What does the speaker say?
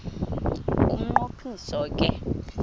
umnqo phiso ke